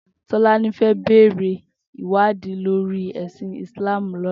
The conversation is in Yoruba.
Tolani fè bèrè iwàdí lóri èsín Islam lòlá